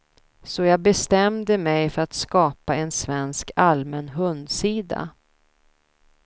Så jag bestämde mig för att skapa en svensk allmän hundsida.